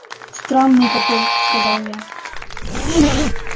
странный какой сказал я